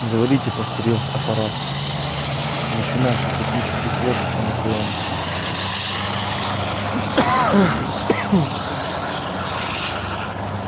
говорите повторил апорат начинайте космический флот анакреона